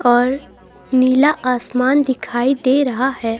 और नीला आसमान दिखाई दे रहा है.